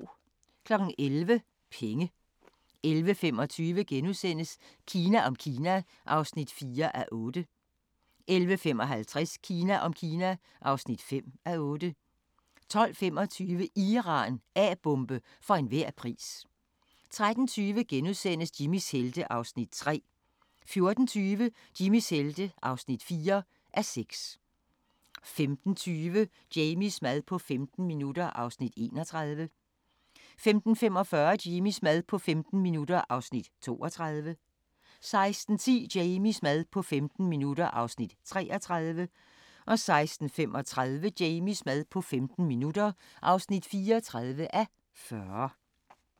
11:00: Penge 11:25: Kina om Kina (4:8)* 11:55: Kina om Kina (5:8) 12:25: Iran – A-bombe for enhver pris 13:20: Jimmys helte (3:6)* 14:20: Jimmys helte (4:6) 15:20: Jamies mad på 15 minutter (31:40) 15:45: Jamies mad på 15 minutter (32:40) 16:10: Jamies mad på 15 minutter (33:40) 16:35: Jamies mad på 15 minutter (34:40)